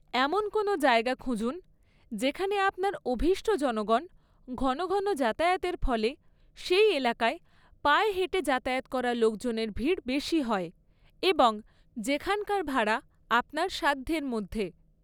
এমন কোনো জায়গা খুঁজুন, যেখানে আপনার অভীষ্ট জনগণ ঘনঘন যাতায়াতের ফলে সেই এলাকায় পায়ে হেঁটে যাতায়াত করা লোকজনের ভিড় বেশি হয় এবং যেখানকার ভাড়া আপনার সাধ্যের মধ্যে।